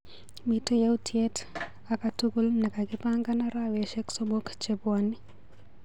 Miite yautyet akatukul nekakipangan araweshek somok chebwoni.